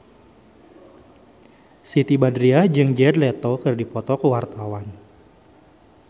Siti Badriah jeung Jared Leto keur dipoto ku wartawan